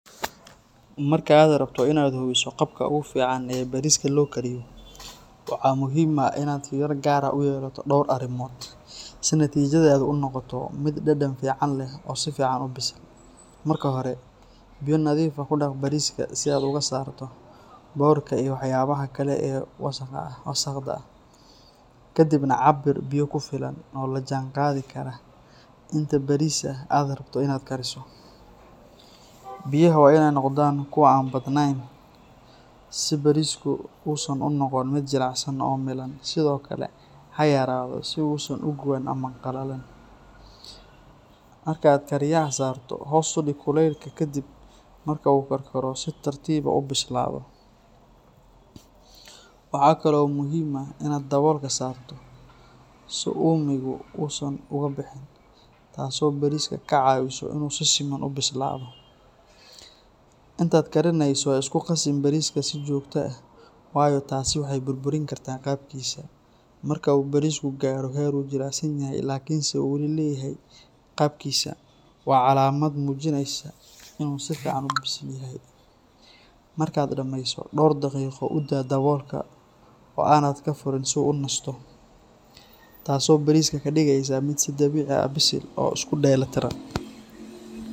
Marka aad rabto inaad hubiso qaabka ugu fiican ee bariska loo kariyo, waxaa muhiim ah inaad fiiro gaar ah u yeelato dhowr arrimood si natiijadaadu u noqoto mid dhadhan fiican leh oo si fiican u bisil. Marka hore, biyo nadiif ah ku dhaq bariska si aad uga saarto boodhka iyo waxyaabaha kale ee wasaqda ah. Ka dibna, cabir biyo ku filan oo la jaanqaadi kara inta baris ah aad rabto inaad kariso. Biyaha waa inay noqdaan kuwo aan badnayn si barisku uusan u noqon mid jilicsan oo milan, sidoo kale ha yaraado si uusan u guban ama qallalin. Marka aad kariyaha saarto, hoos u dhig kulaylka kadib marka uu karkaro si tartiib ah u bislaado. Waxa kale oo muhiim ah inaad daboolka saarto si uumigu uusan uga bixin, taas oo bariska ka caawisa inuu si siman u bislaado. Intaad karinayso, ha isku qasin bariska si joogto ah, waayo taasi waxay burburin kartaa qaabkiisa. Marka uu barisku gaaro heer uu jilicsan yahay laakiinse uu wali leeyahay qaabkiisa, waa calaamad muujinaysa in uu si fiican u bisil yahay. Markaad dhameyso, dhowr daqiiqo u daa daboolka oo aanad fureyn si uu u nasto, taasoo bariska ka dhigaysa mid si dabiici ah u bisil oo isku dheelitiran.